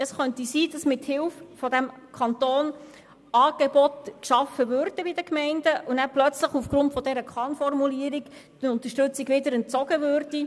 Es ist möglich, dass in den Gemeinden mithilfe des Kantons Angebote geschaffen würden und plötzlich aufgrund der Kann-Formulierung die Unterstützung wieder entzogen würde.